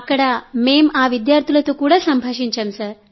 అక్కడ మేం ఆ విద్యార్థులతో కూడా సంభాషించాం